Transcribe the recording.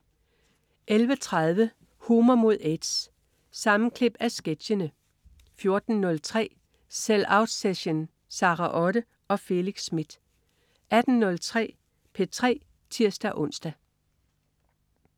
11.30 Humor mod aids. Sammenklip af sketchene 14.03 Sell out session. Sara Otte og Felix Smith 18.03 P3 (tirs-ons)